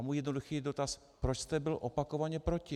A můj jednoduchý dotaz - proč jste byl opakovaně proti?